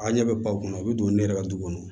A' ɲɛ bɛ baw kɔnɔ u bɛ don ne yɛrɛ ka du kɔnɔ